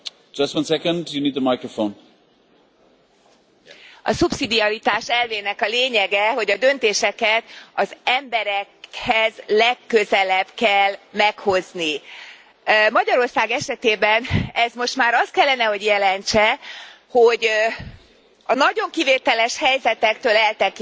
Elnök Úr! A szubszidiaritás elvének a lényege, hogy a döntéseket az emberekhez legközelebb kell meghozni. Magyarország esetében ez most már azt kellene, hogy jelentse, hogy a nagyon kivételes helyzetektől eltekintve